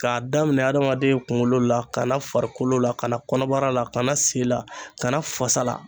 K'a daminɛ adamaden kunkolo la, kana farikolo la, ka na kɔnɔbara la, ka na sen la, ka na fasa la.